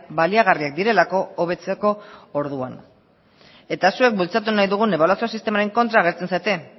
baliagarriak direlako hobetzeko orduan eta zuek bultzatu nahi dugun ebaluazio sistemaren kontra agertzen zarete